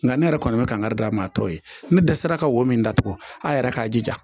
Nka ne yɛrɛ kɔni bɛ kankari d'a ma tɔ ye ne dɛsɛra ka wo min datugu a yɛrɛ k'a jija